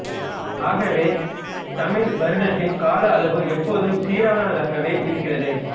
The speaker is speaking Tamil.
ஆகவே தமிழ் வருடத்தின் கால அளவு எப்போதும் சீரானதாகவே இருக்கிறது